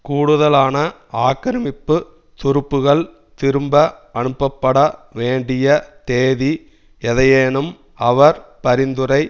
கூடுதலான ஆக்கிரமிப்புத் துருப்புக்கள் திரும்ப அனுப்பப்பட வேண்டிய தேதி எதையேனும் அவர் பரிந்துரை